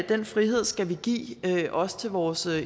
den frihed skal vi give også til vores